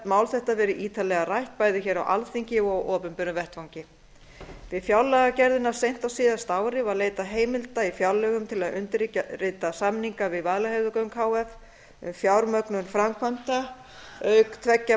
mál þetta verið ítarlega rætt bæði hér á alþingi og á opinberum vettvangi við fjárlagagerðina seint á síðasta ári var leitað heimilda á fjárlögum til að undirrita samninga við vaðlaheiðargöng h f um fjármögnun framkvæmda auk tveggja